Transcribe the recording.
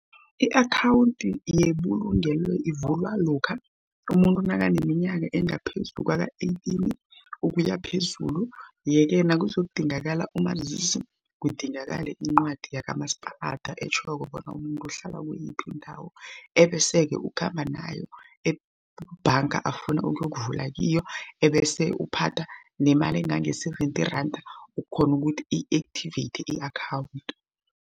I-akhawundi yebulungelo ivulwa lokha umuntu nakaneminyaka engaphezu kwaka-eighteen ukuya phezulu. Yeke kuzokudingakala umazisi, kudingakale iincwadi yakamasipalada etjhoko bona umuntu uhlala kuyiphi indawo ebese-ke ukhamba nayo ebhanga afuna ukuyokuvula kiyo ebese uphatha nemali engange-seventy randa, ukghona ukuthi i-activate i-akhawundi.